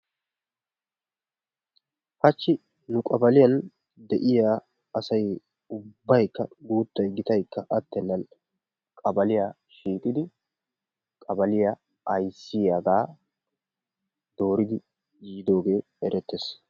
Hachchi nu qabaliyan de'iya asay ubbaykka guuttay gitaykka attenaan qabaliya shiiqqidi qabaliya ayssiyaagaa dooridi yiiddoogee erettees.